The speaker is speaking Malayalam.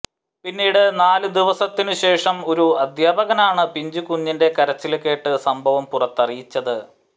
പിന്നീട് നാല് ദിവസത്തിനു ശേഷം ഒരു അദ്ധ്യാപകനാണ് പിഞ്ചു കുഞ്ഞിന്റെ കരച്ച്ല് കേട്ട് സംഭവം പുറത്തറിയിച്ചത്